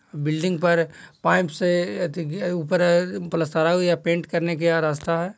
Building पर pipe से अथी ऊपर प्लैस्टर या पेन्ट करने का रास्ता है।